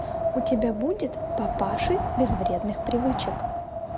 у тебя будет папаши без вредных привычек